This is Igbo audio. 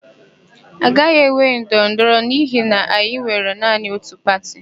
A gaghị enwe ndọrọndọrọ n'ihi na anyị nwere naanị ótù pati.